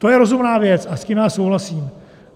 To je rozumná věc a s tím já souhlasím.